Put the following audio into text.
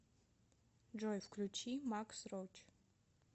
джой включи макс роач